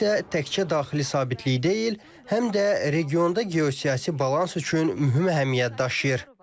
Bu isə təkcə daxili sabitlik deyil, həm də regionda geosiyasi balans üçün mühüm əhəmiyyət daşıyır.